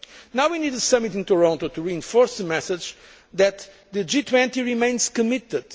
Now we need the summit in Toronto to reinforce the message that the G20 remains committed.